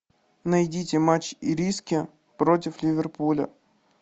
найдите матч ириски против ливерпуля